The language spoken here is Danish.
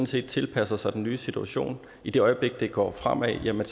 set tilpasser sig den nye situation i det øjeblik det går fremad ser man